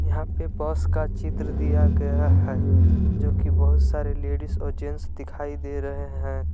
यहां पे बस का चित्र दिया गया है जो कि बहुत सारे लेडिस और जेंट्स दिखाई दे रहे हैं।